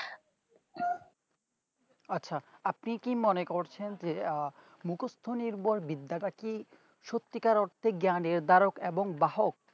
আচ্ছা আপনি কি মনে করছেন যে আহ মুকস্ত নির্ভর বিদ্যাটাকে সত্যি কার অর্থে জ্ঞান নির্ধারক এবং বাহক